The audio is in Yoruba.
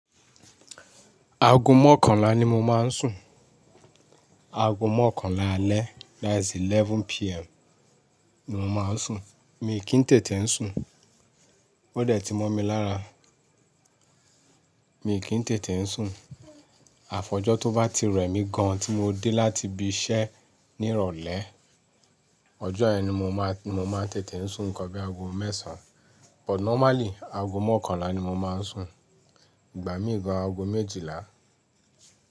Aago mọ́kànlá ni mo má ń sùn, aago mọ́kànlá alẹ́ that's 11:00pm ni mo má ń sùn. Mi kì í tètè ń sùn, ó dẹ̀ ti mọ́ mi lára. Mi kì í tètè ń sùn. Àfojọ́ tó bá ti rẹ̀ mí gan-an tí mo dé láti ibi iṣẹ́ ní ìrọ̀lẹ́, ọjọ́ yẹn ni mo má-- mo má ń tètè ń sùn nǹkan bí i aago mẹ́sàn án but normally aago mọ́kànlá ni mo má ń sùn. Ìgbà mí gan-an aago méjìlá.